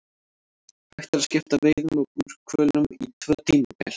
Hægt er að skipta veiðum á búrhvölum í tvö tímabil.